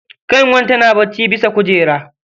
Ƙyanwar tana bacci bisa kujera.